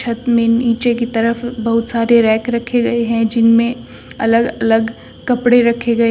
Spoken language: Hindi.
में नीचे की तरफ बहुत सारे रैक रखे गए हैं जिनमें अलग अलग कपड़े रखे गए--